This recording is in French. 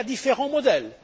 Il y a différents modèles.